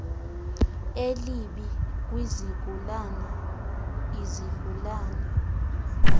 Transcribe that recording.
elibi kwizigulana izigulana